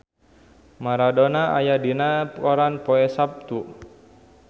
Maradona aya dina koran poe Saptu